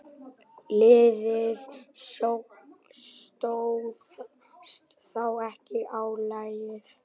Liðið stóðst þá ekki álagið.